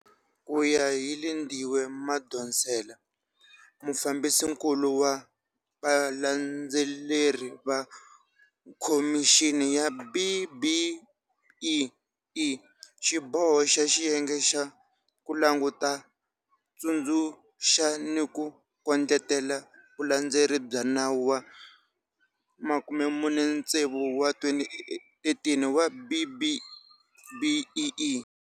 Ku ya hi Lindiwe Madonsela, Mufambisinkulu wa Vulandzeleri va Khomixini ya B-BBEE, xiboho xa xiyenge xa ku languta, tsundzuxa ni ku kondletela vulandzeleri bya Nawu wa 46 wa 2013 wa B-BBEE.